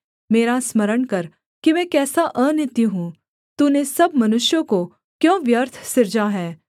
मेरा स्मरण कर कि मैं कैसा अनित्य हूँ तूने सब मनुष्यों को क्यों व्यर्थ सिरजा है